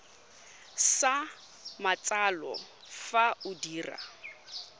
sa matsalo fa o dira